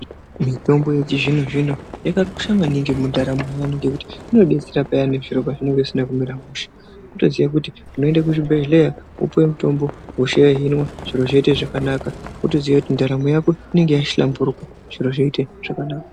Mitombo yechizvino zvino yakakosha maningi mundaramo yedu ngekuti inotidetsera pane zvirwere zvinenge zvisina kumira mushe ngekuti unoenda kuzvibhedhlera mutombo zviro zvoita zvakanaka wotoziva kuti ndaramo Yako inenge yahlamburuka zviro zvaita zvakanaka.